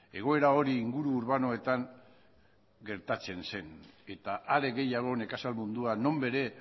egoera hori inguru urbanoetan gertatzen zen eta are gehiago nekazal mundua non bere